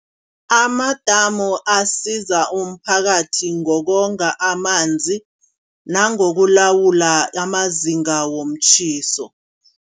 Amadamu asiza umphakathi ngonga amanzi. Nangokulawula amazinga womtjhiso.